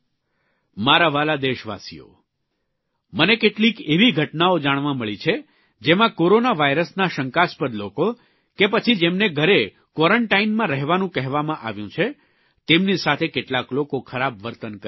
મારા વ્હાલા દેશવાસીઓ મને કેટલીક એવી ઘટનાઓ જાણવા મળી છે જેમાં કોરોના વાયરસના શંકાસ્પદ લોકો કે પછી જેમને ઘરે કોરન્ટાઇનમાં રહેવાનું કહેવામાં આવ્યું છે તેમની સાથે કેટલાક લોકો ખરાબ વર્તન કરી રહ્યા છે